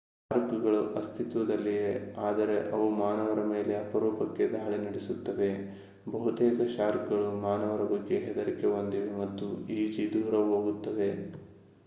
ಶಾರ್ಕ್‌ಗಳು ಅಸ್ತಿತ್ವದಲ್ಲಿವೆ ಆದರೆ ಅವು ಮಾನವರ ಮೇಲೆ ಅಪರೂಪಕ್ಕೆ ದಾಳಿ ನಡೆಸುತ್ತವೆ. ಬಹುತೇಕ ಶಾರ್ಕ್‌ಗಳು ಮಾನವರ ಬಗ್ಗೆ ಹೆದರಿಕೆ ಹೊಂದಿವೆ ಮತ್ತು ಈಜಿ ದೂರ ಹೋಗುತ್ತವೆ